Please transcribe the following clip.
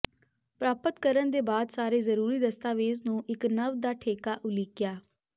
ਪ੍ਰਾਪਤ ਕਰਨ ਦੇ ਬਾਅਦ ਸਾਰੇ ਜ਼ਰੂਰੀ ਦਸਤਾਵੇਜ਼ ਨੂੰ ਇੱਕ ਨਵ ਦਾ ਠੇਕਾ ਉਲੀਕਿਆ